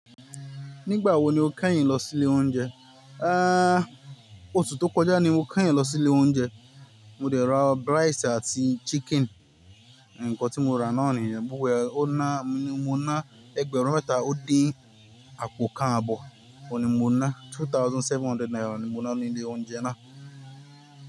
Nígbà wo ni o kẹ́yìn lọ sí ilé oúnjẹ? Àá, oṣù tó kọjá ni mo kẹ́yìn lọ sí ilé oúnjẹ. Mo dẹ̀ rà rice àti chicken. Ǹkan tí mo ra náà nìyẹn, gbogbo e ó ná, mo ná ẹgbẹ̀rún métà ó dín àpò kan àbọ̀. Òun ni mo ná two thousand seven hundred naira ni mo ná ní ilé oúnjẹ náà.